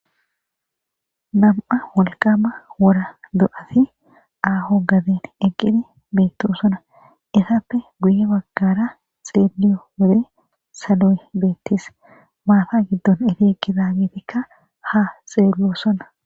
Nam'a wolqama wora do'ati aaho gaden eqqidi beettu sona isappe guye baggara xeeliyo wole salo'e beettis maata giddon eti ekizaagetikka ha xeello sona.